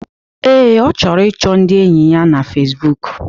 Ee, Ọ chọrọ ịchọ ndi enyi ya na Fesbụụk